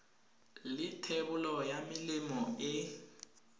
la thebolo ya melemo e